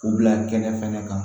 U bila kɛnɛ fana kan